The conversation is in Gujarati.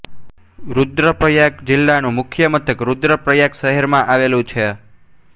રુદ્રપ્રયાગ જિલ્લાનું મુખ્ય મથક રુદ્રપ્રયાગ નગરમાં આવેલું છે